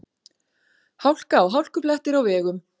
Hálka og hálkublettir á vegum